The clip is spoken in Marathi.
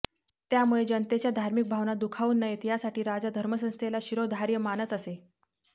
त्यामुळे जनतेच्या धार्मिक भावना दुखावू नयेत यासाठी राजा धर्मसंस्थेला शिरोधार्य मानत असे